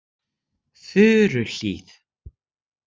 Furuhlíð